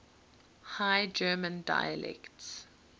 high german dialects